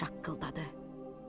Göy şaqqıldadı.